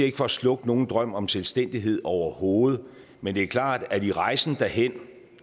ikke for at slukke nogen drøm om selvstændighed overhovedet men det er klart at i rejsen derhen